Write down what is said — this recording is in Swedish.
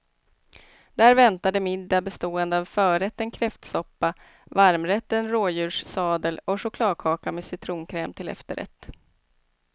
Där väntade middag bestående av förrätten kräftsoppa, varmrätten rådjurssadel och chokladkaka med citronkräm till efterrätt.